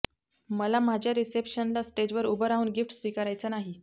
मला माझ्या रिसेप्शनला स्टेजवर उभं राहून गिफ्ट स्वीकारायचं नाही